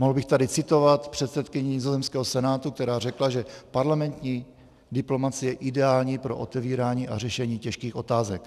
Mohl bych tady citovat předsedkyni nizozemského senátu, která řekla, že parlamentní diplomacie je ideální pro otevírání a řešení těžkých otázek.